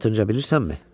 Latınca bilirsənmi?